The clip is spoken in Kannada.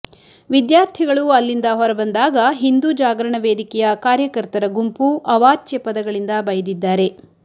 ವಿದ್ಯಾರ್ಥಿಗಳು ಅಲ್ಲಿಂದ ಹೊರಬಂದಾಗ ಹಿಂದೂ ಜಾಗರಣ ವೇದಿಕೆಯ ಕಾರ್ಯಕರ್ತರ ಗುಂಪು ಅವಾಚ್ಯ ಪದಗಳಿಂದ ಬೈದಿದ್ದಾರೆ